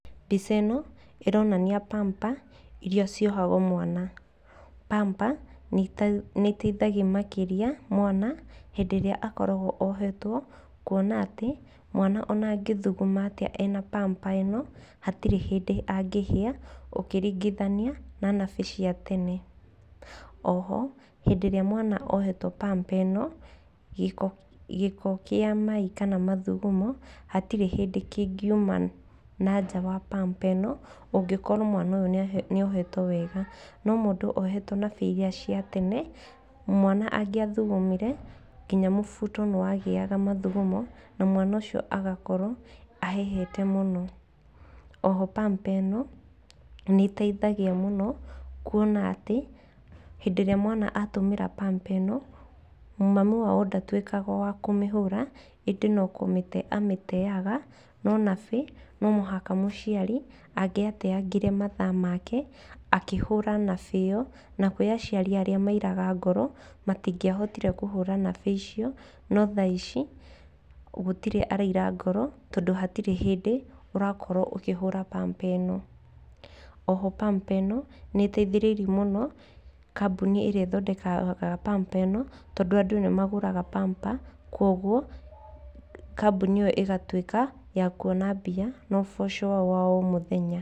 Mbica ĩno ĩronania pamper iria ciohangwo mwana. Pamper, nĩ iteithagia makĩria mwana hĩndĩ ĩrĩa akoragwo ohetwo kuona atĩ mwana ona angĩthuguma atĩa ena pamper ĩno, hatirĩ hĩndĩ nagĩhia, ũngĩringithania na nabĩ cia tene. Oho, hĩndĩ ĩrĩa mwana ohetwo psmper ĩno, gĩko gĩko kĩa mai kana mathugumo hatirĩ hĩndĩ kĩngiuma nanja wa pamper ĩno, ũngĩkorwo mwana ũyũ nĩ ohetwo wega. No mũndũ ohetwo nabĩ iria cia tene, mwana angĩathugumire, nginya mũbuto nĩ wagĩaga mathugumo, na mwana ũcio agakorwo ahehete mũno. Oho pamper ĩno, nĩ ĩteithagia mũno kuona atĩ, hĩndĩ ĩrĩa mwana atũmĩra pamper ĩno, mamu wao ndatuĩkaga wa kũmĩhũra, ĩndĩ no kũmĩte amĩteaga, no nabĩ, no mũhaka mũciari angĩateangire mathaa make, akĩhũra nabĩ ĩyo, na kũrĩ aciari arĩa mairaga ngoro, matingĩahotire kũhũra nabĩ icio, no thaa ici, gũtirĩ araira ngoro, tondũ hatirĩ hĩndĩ ũrakorwo ũkĩhũra pamper ĩno. Oho pamper ĩno nĩ ĩteithĩrĩirie mũno kambuni ĩrĩa ĩthondekaga pamper ĩno, tondũ andũ nĩ magũraga pamper, koguo kambuni ĩyo ĩgatuĩka ya kuona mbia na ũboco wao wa o mũthenya.